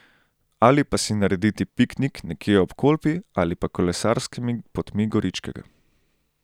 Ali pa si narediti piknik nekje ob Kolpi ali pa kolesarskimi potmi Goričkega.